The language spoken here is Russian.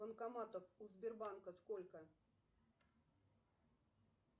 банкоматов у сбербанка сколько